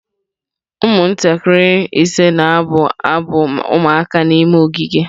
Ụmụntakịrị ise na-abụ abụ ụmụaka n'ime ogige.